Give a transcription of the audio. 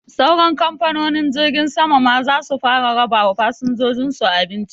Sauran kamfanonin jirgin sama ma zasu fara raba wa fasinjojin su abinci